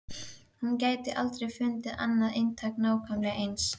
Hún gæti aldrei fundið annað eintak nákvæmlega eins.